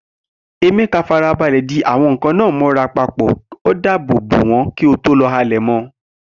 Emeka farabalẹ̀ di àwọn nkan náà mọ́ra papọ̀, ó dáàbò bo wọn kí ó tó lo àlẹ̀mọ́.